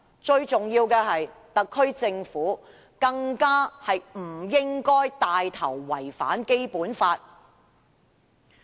最重要的是，特區政府更不應該牽頭違反《基本法》。